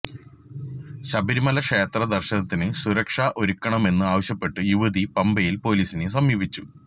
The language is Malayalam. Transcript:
ശബരിമല ക്ഷേത്ര ദര്ശനത്തിന് സുരക്ഷ ഒരുക്കണമെന്ന് ആവശ്യപ്പെട്ട് യുവതി പമ്പയില് പൊലീസിനെ സമീപിച്ചു